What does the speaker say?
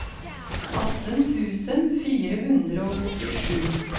atten tusen fire hundre og åttisju